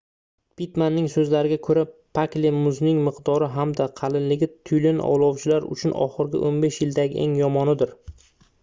pittmanning soʻzlariga koʻra pakli muzning miqdori hamda qalinligi tyulen ovlovchilar uchun oxirgi 15 yildagi eng yomonidir